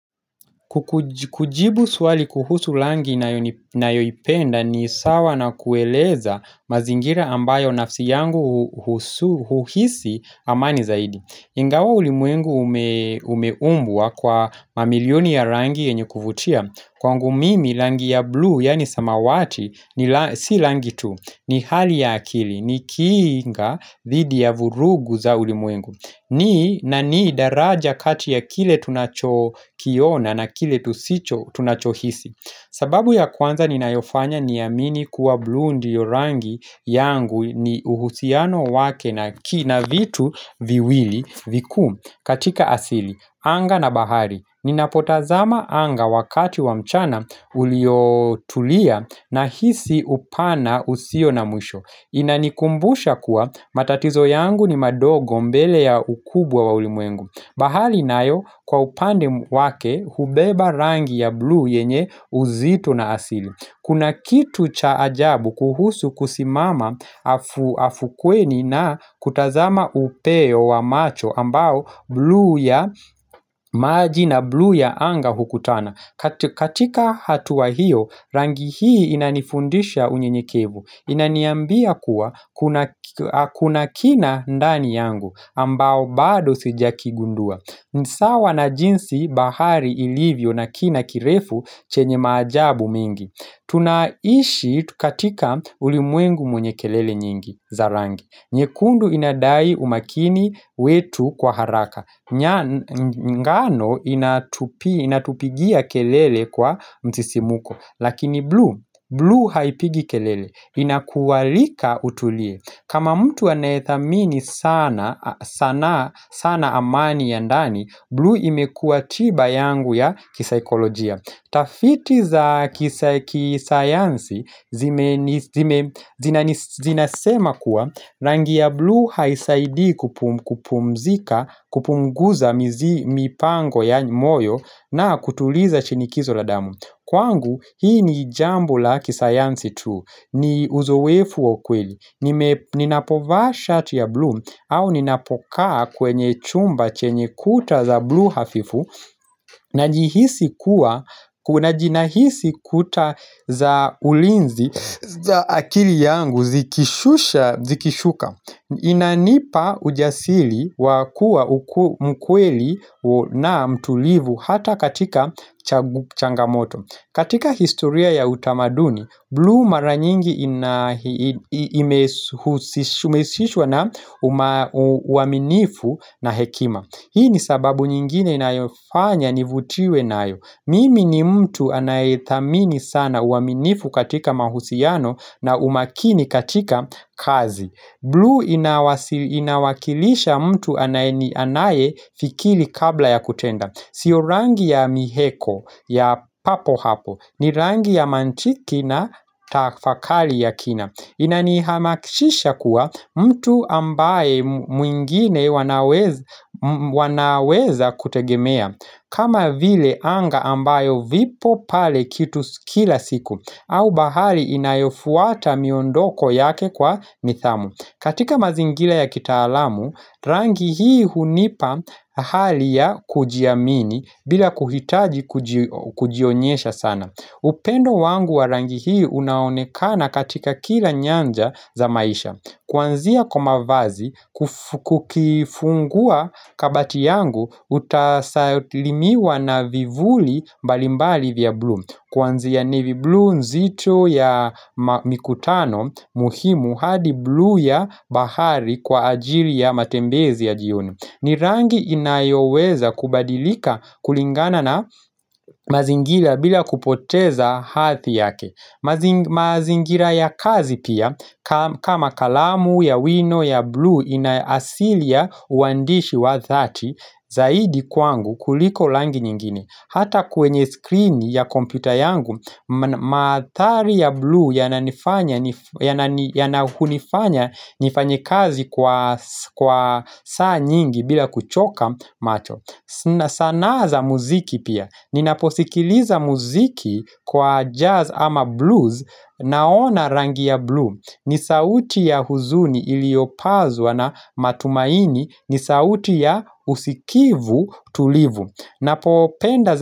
Kujibu swali kuhusu rangi ninayoipenda ni sawa na kueleza mazingira ambayo nafsi yangu huhisi amani zaidi Nga wa ulimwengu umeumbua kwa mamilioni ya langi enye kuvutia Kwa ngu mimi langi ya blue yani samawati ni si langi tu ni hali ya akili ni kinga thidi ya vurugu za ulimuengu ni na ni daraja katia kile tunacho kiona na kile tunachohisi sababu ya kwanza ninaifanya niamini kuwa bluu yorangi yangu ni uhusiano wake na kina vitu viwili viku katika asili Anga na bahari Ninapotazama anga wakati wa mchana uliotulia na hisi upana usio na mwisho Inanikumbusha kuwa matatizo yangu ni madogo mbele ya ukubwa wa ulimwengu Bahali nayo kwa upande wake hubeba rangi ya blue yenye uzito na asili Kuna kitu cha ajabu kuhusu kusimama afukweni na kutazama upeo wa macho ambao blue ya maji na blue ya anga hukutana katika hatua hiyo rangi hii inanifundisha unye nyekivu Inaniambia kuwa kuna kina ndani yangu ambao bado sija kigundua ni sawa na jinsi bahari ilivyo na kina kirefu chenye majabu mingi Tunaishi tukatika ulimwengu mwenye kelele nyingi zarangi nye kundu inadai umakini wetu kwa haraka ngano inatupigia kelele kwa msisimko Lakini blue, blue haipigi kelele Inakuwalika utulie kama mtu anethamini sana amani ya ndani blue imekua tiba yangu ya kisaykolojia Tafiti za kisayansi zinasema kuwa Rangi ya Blue haisaidi kupunguza mipango ya moyo na kutuliza chinikizo la damu Kwangu hii ni jambu la kisayansi tu ni uzoefu wa ukweli ninapovashat ya blu au ninapokaa kwenye chumba chenye kuta za blue hafifu Najihisi kuwa Najinahisi kuta za ulinzi za akili yangu zikishuka Inanipa ujasili wakua mkweli na mtulivu Hata katika changamoto katika historia ya utamaduni Blue mara nyingi umesishwa na umaminifu na hekima Hii ni sababu nyingine inaifanya nivutiwe na ayo Mimi ni mtu anayetamini sana umaminifu katika mahusiano na umakini katika kazi Blue inawakilisha mtu anayetamini fikiri kabla ya kutenda Sio rangi ya miheko ya papo hapo ni rangi ya mantiki na tafakali ya kina Inani hamakishisha kuwa mtu ambaye mwingine wanaweza kutegemea kama vile anga ambayo vipo pale kitu kila siku au bahali inayofuata miondoko yake kwa nidhamu katika mazingira ya kitaalamu Rangi hii hunipa hali ya kujiamini bila kuhitaji kujionyesha sana upendo wangu wa rangi hii unaonekana katika kila nyanja za maisha Kwanzia kwa mavazi kukifungua kabati yangu utasalimiwa na vivuli mbalimbali vya blue Kwanzia navy blue nzito ya mikutano muhimu hadi blue ya bahari kwa ajiri ya matembezi ya jioni ni rangi inayoweza kubadilika kulingana na mazingira bila kupoteza hathi yake mazingira ya kazi pia kama kalamu ya wino ya blue inaasilia uandishi wa thati zaidi kwangu kuliko langi nyingine Hata kwenye screen ya kompyuta yangu, mathari ya blue yanahunifanya nifanyekazi kwa saa nyingi bila kuchoka macho sanaa za muziki pia, ninaposikiliza muziki kwa jazz ama blues naona rangi ya blue ni sauti ya huzuni iliopazwa na matumaini, ni sauti ya usikivu tulivu Napopenda.